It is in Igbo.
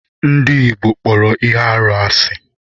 Ndị Igbo kpọrọ ihe arụ asị.